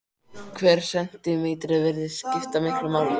Hver sentímetri virðist skipta miklu máli.